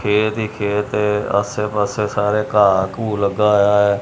ਖੇਤ ਹੀ ਖੇਤ ਆਸੇ ਪਾਸੇ ਘਾਹ ਘੁ ਲੱਗਿਆ ਹੋਇਆ ਹੈ।